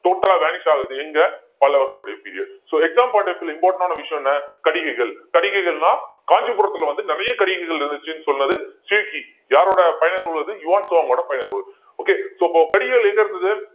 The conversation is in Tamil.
total ஆ vanish ஆகுது எங்க பலவர்களுடைய period so exam point of view ல important ஆன விஷயம் என்ன கடிகைகள் கடிகைகள்ன்னா காஞ்சிபுரத்துல வந்து நிறைய கடிகைகள் இருந்துச்சுன்னு சொன்னது சியூக்கி யாரோட பயண நூல் அது யுவான் சுவாங் ஓட பயண நூல் okay so அப்போ கடிகைகள் எங்க இருந்துது